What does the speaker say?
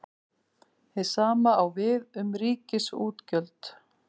Hið sama á við um ríkisútgjöld.